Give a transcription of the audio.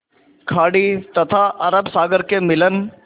खाड़ी तथा अरब सागर के मिलन